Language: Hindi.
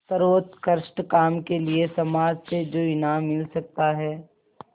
सर्वोत्कृष्ट काम के लिए समाज से जो इनाम मिल सकता है